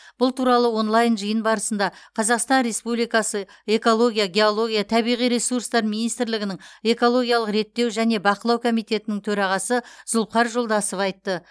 бұл туралы онлайн жиын барысында қазақстан республикасы экология геология табиғи ресурстар министрлігінің экологиялық реттеу және бақылау комитетінің төрағасы зұлпыхар жолдасов айтты